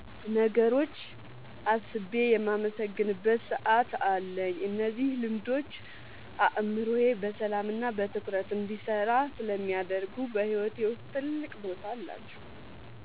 ነገሮች አስቤ የማመሰግንበት ሰዓት አለኝ። እነዚህ ልምዶች አእምሮዬ በሰላምና በትኩረት እንዲሰራ ስለሚያደርጉ በሕይወቴ ውስጥ ትልቅ ቦታ አላቸው።"